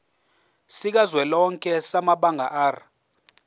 sikazwelonke samabanga r